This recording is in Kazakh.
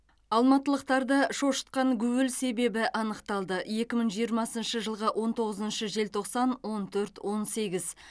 алматылықтарды шошытқан гуіл себебі анықталды екі мың жиырмасыншы жылғы он тоғызыншы желтоқсан он төрт он сегіз